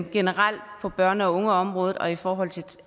generelt på børne og ungeområde og i forhold til